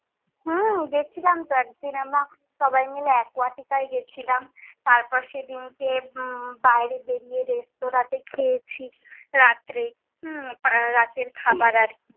হম গিয়েছিলাম তো এক দিন আমরা সবাই মিলে aquatica এ গিয়েছিলাম। তারপর সেই দিনকে হম বাইরে বেরিয়ে restaurant এ খেয়েছি রাত্রে, হম রাতের খাবার আর কি।